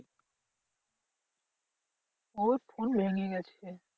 ওর phone ভেঙে গেছে।